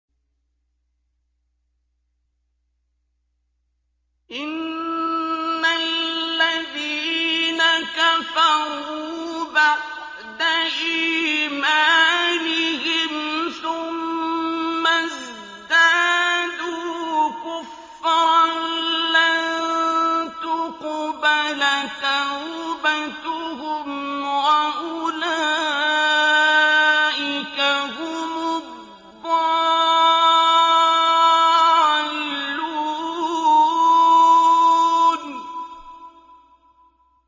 إِنَّ الَّذِينَ كَفَرُوا بَعْدَ إِيمَانِهِمْ ثُمَّ ازْدَادُوا كُفْرًا لَّن تُقْبَلَ تَوْبَتُهُمْ وَأُولَٰئِكَ هُمُ الضَّالُّونَ